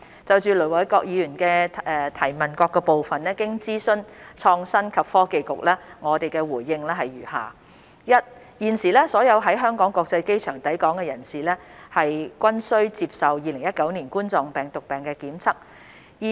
就盧偉國議員質詢的各部分，經諮詢創新及科技局，我的回應如下：一現時所有於香港國際機場抵港的人士，均須接受2019新型冠狀病毒檢測。